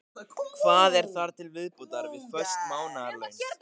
Hvað er þar til viðbótar við föst mánaðarlaun?